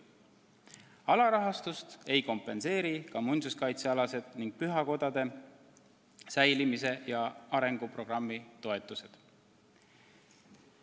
Alarahastust ei kompenseeri ka muinsuskaitsealased ning pühakodade säilitamise ja arengu programmi toetused.